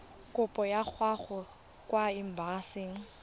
kopo ya gago kwa embasing